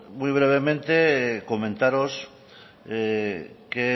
muy brevemente comentaros qué